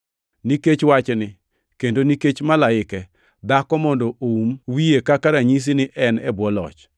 Nikech wachni kendo nikech malaike, dhako mondo oum wiye kaka ranyisi ni en e bwo loch.